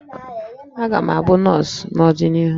Aga m abụ nọọsụ n'ọdịnihu